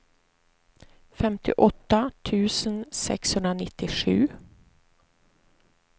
femtioåtta tusen sexhundranittiosju